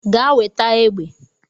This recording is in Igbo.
Gaa weta egbe.